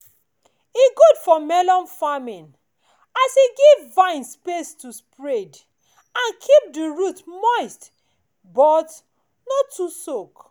e good for melon farming as e give vine space to spread and keep di root moist but no too soak.